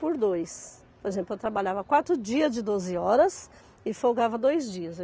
Por dois. Por exemplo, eu trabalhava quatro dias de doze horas e folgava dois dias.